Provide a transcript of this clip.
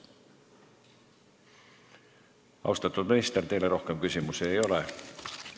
Austatud minister, teile rohkem küsimusi ei ole.